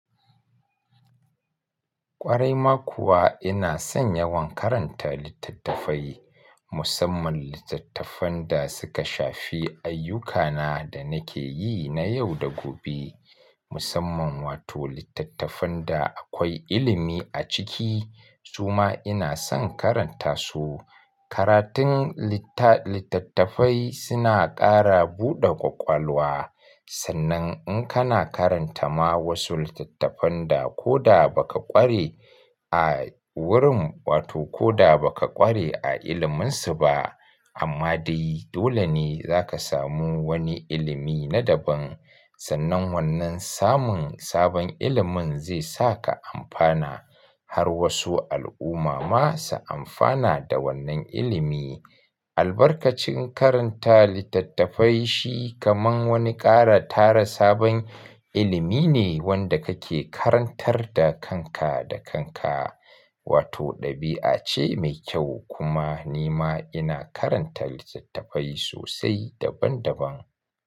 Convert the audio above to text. Ƙwarai ma kuwa ina son yawan karanta littattafai, musamman littattafan da suka shafi ayyukana da nake yi na yau da gobe. Musamman wato littattafan da akwai ilimi a ciki, su ma ina son karanta su. Karatun littattafai suna ƙara buɗa ƙwaƙwalwa. Sannan in kana karanta ma wasu littattafan da ko da ba ka ƙware a wurin, wato ko da ba ka ƙware a iliminsu ba, amma dai dole ne za ka samu wani ilimi na daban. Sannan wannan samun sabon ilimin zai sa ka ampana har wasu al'umma ma su amfana da wannan ilimi. Albarkacin karanta littattafai shi kamar wani ƙara tara sabon ilimi ne wanda kake karantar da kanka da kanka. Wato ɗabi'a ce mai kyau kuma ni ma ina karanta littattafai sosai daban daban.